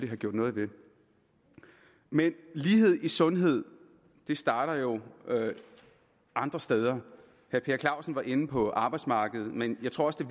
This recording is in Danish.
have gjort noget ved men lighed i sundhed starter jo andre steder herre per clausen var inde på arbejdsmarkedet men jeg tror også det